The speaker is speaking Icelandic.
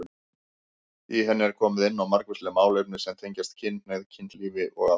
Í henni er komið inn á margvísleg málefni sem tengjast kynhneigð, kynlífi og ást.